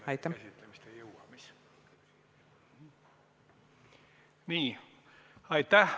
Aitäh!